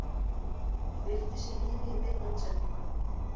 Svipti sig lífi í beinni útsendingu